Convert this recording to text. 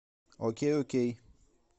окей окей